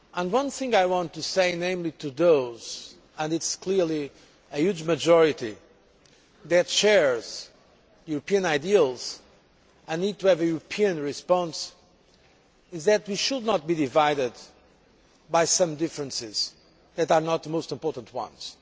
One thing I want to say to you and it is clearly a huge majority that shares European ideals and need to have a European response is that we should not be divided by some differences that are not the most important ones.